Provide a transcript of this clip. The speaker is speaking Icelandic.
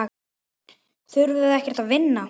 Þurfið þið ekkert að vinna?